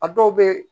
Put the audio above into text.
A dɔw bɛ